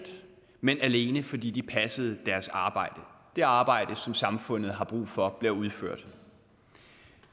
men alene fordi de passede deres arbejde det arbejde som samfundet har brug for bliver udført